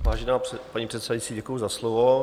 Vážená paní předsedající, děkuji za slovo.